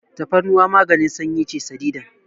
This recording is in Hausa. Tafarnuwa maganin sanyi ce sadidan.